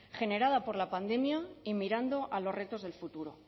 generada por la pandemia y mirando a los retos del futuro